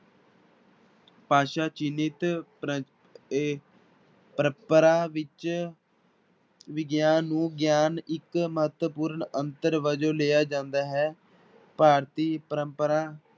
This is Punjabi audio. ਭਾਸ਼ਾ ਚਿਲਿਤ ਪ੍ਰ ਇਹ ਪਰੰਪਰਾ ਵਿੱਚ ਵਿਗਿਆਨ ਨੂੰ ਗਿਆਨ ਇੱਕ ਮਹੱਤਵਪੂਰਨ ਅੰਤਰ ਵਜੋਂ ਲਿਆ ਜਾਂਦਾ ਹੈ, ਭਾਰਤੀ ਪਰੰਪਰਾ